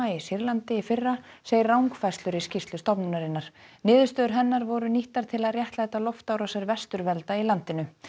í Sýrlandi í fyrra segir rangfærslur í skýrslu stofnunarinnar niðurstöður hennar voru nýttar til að réttlæta loftárásir vesturvelda í landinu